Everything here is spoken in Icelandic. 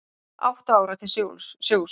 Átta ára til sjós